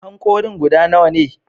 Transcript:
Hankorin ka guda nawa ne?